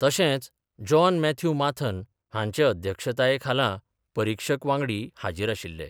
तशेंच John Mathew Mathan हांचे अध्यक्षताये खाला परिक्षक वांगडी हाजीर आशिल्ले.